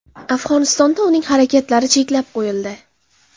Afg‘onistonda uning harakatlari cheklab qo‘yildi.